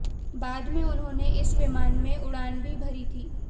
बाद में उन्होंने इस विमान में उड़ान भी भरी थी